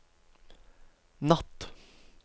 natt